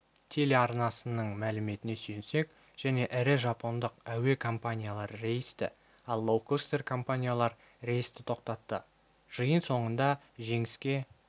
телеарнасының мәліметіне сүйенсек және ірі жапондық әуе компаниялары рейсті ал лоукостер-компаниялар рейсті тоқтатты жиын соңында жеңіске